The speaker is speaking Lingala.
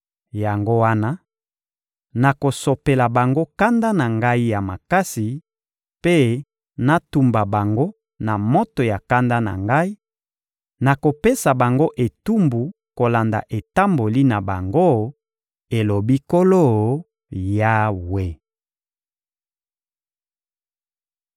Yango wana, nakosopela bango kanda na Ngai ya makasi mpe natumba bango na moto ya kanda na Ngai, nakopesa bango etumbu kolanda etamboli na bango, elobi Nkolo Yawe.»